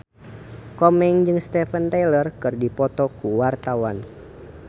Komeng jeung Steven Tyler keur dipoto ku wartawan